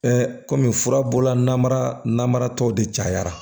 kɔmi fura bɔla namara namara tɔw de cayara